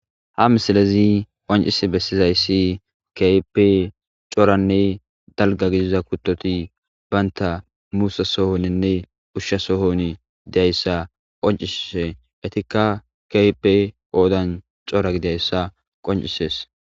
Ha misilezi qoncis bessizayssi kepe coranne dalga gidiza kuttoti baynta muusa sohoninne ushsha sohon dayssa qoncishise etikka keype oodan cora gidayssa qoncisees